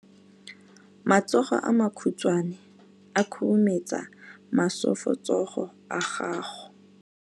Matsogo a makhutshwane a khurumetsa masufutsogo a gago.